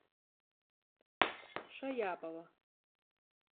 шаяпова